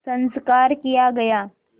संस्कार किया गया